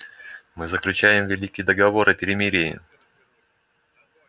мы заключаем великий договор о перемирии